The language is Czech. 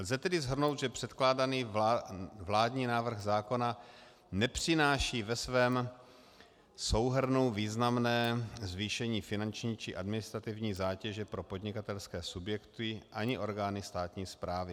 Lze tedy shrnout, že předkládaný vládní návrh zákona nepřináší ve svém souhrnu významné zvýšení finanční či administrativní zátěže pro podnikatelské subjekty ani orgány státní správy.